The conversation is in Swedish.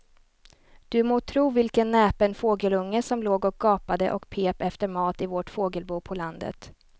Du må tro vilken näpen fågelunge som låg och gapade och pep efter mat i vårt fågelbo på landet.